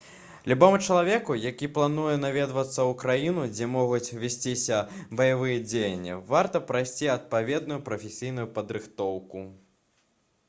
любому чалавеку які плануе наведацца ў краіну дзе могуць весціся баявыя дзеянні варта прайсці адпаведную прафесійную падрыхтоўку